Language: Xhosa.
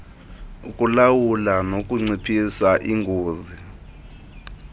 ukulawula nokunciphisa ingozi